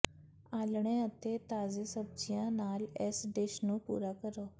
ਆਲ੍ਹਣੇ ਅਤੇ ਤਾਜ਼ੇ ਸਬਜ਼ੀਆਂ ਨਾਲ ਇਸ ਡਿਸ਼ ਨੂੰ ਪੂਰਾ ਕਰੋ